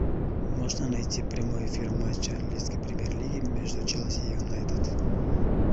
можно найти прямой эфир матча английской премьер лиги между челси и юнайтед